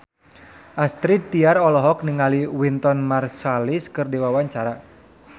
Astrid Tiar olohok ningali Wynton Marsalis keur diwawancara